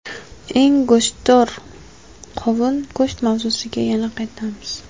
Eng go‘shtdor qovun Go‘sht mavzusiga yana qaytamiz.